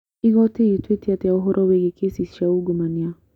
Igoti rĩtuĩte atĩa ũhoro wĩgiĩ kĩsi cia ungumania?